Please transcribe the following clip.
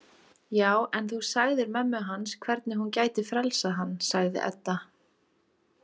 Já, en þú sagðir mömmu hans hvernig hún gæti frelsað hann, sagði Edda.